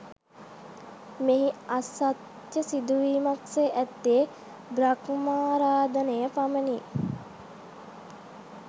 මෙහි අසත්‍ය සිදුවීමක් සේ ඇත්තේ බ්‍රහ්මාරාධනය පමණි